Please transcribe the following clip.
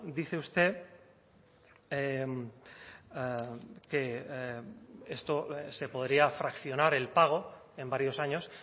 dice usted que esto se podría fraccionar el pago en varios años